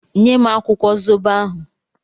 Nye m akwụkwọ zobo ahụ!